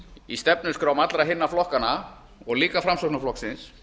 í stefnuskrám allra hinna flokkanna og líka framsóknarflokksins